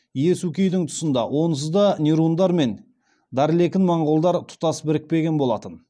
иесукейдің тұсында онсызда нирундар мен дарлекін моңғолдар тұтас бірікпеген болатын